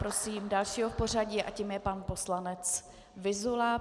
Prosím dalšího v pořadí a tím je pan poslanec Vyzula.